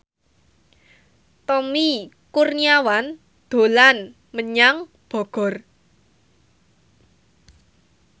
Tommy Kurniawan dolan menyang Bogor